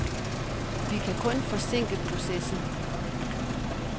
Vi kan kun forsinke processen.